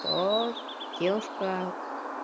то девушка